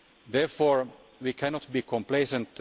Therefore, we cannot be complacent.